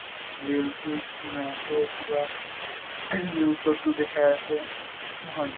reels চীল্চ বনায় আছে কিবা ing news তো দেখাই আছে, নহয়?